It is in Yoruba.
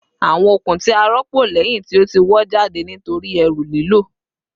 Awọn okun ti a rọpo lẹhin ti o ti wọ jade nitori eru lilo